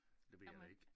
Det ved jeg da ikke